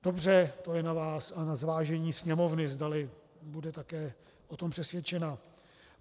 Dobře, to je na vás a na zvážení Sněmovny, zdali bude také o tom přesvědčena.